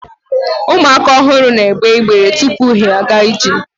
ụmụaka ọhụrụ na egbe ibere tupu ha aga ije